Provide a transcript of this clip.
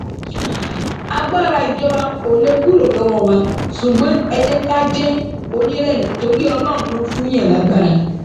agbára ìjọba ò lè kúrò lọwọ wa ṣùgbọn ẹ jẹ ká jẹ onírẹlẹ torí ọlọrun ló ń fúnùnyàn lágbára